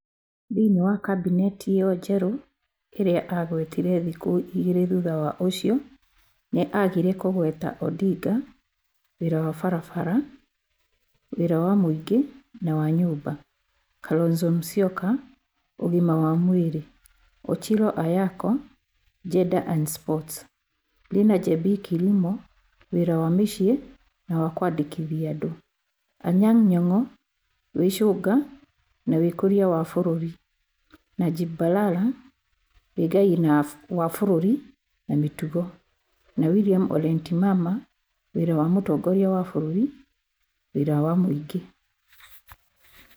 Thĩinĩ wa Kabineti ĩyo njerũ ĩrĩa aagwetire thikũ igĩrĩ thutha ũcio, nĩ aagire kũgweta Odinga (Wĩra wa barabara, Wĩra wa mũingĩ na wa nyũmba), Kalonzo Musyoka (Ũgima wa mwĩrĩ), Ochilo Ayacko (Gender and Sports), Linah Jebii Kilimo (Wĩra wa mũciĩ na wa kwandĩkithia andũ), Anyang Nyong'' o (Wĩcũnga na Wĩkũria wa Bũrũri), Najib Balala (Wĩgai wa Bũrũri na Mĩtugo) na William ole Ntimama (Wĩra wa Mũtongoria wa Bũrũri Wĩra wa mũingĩ).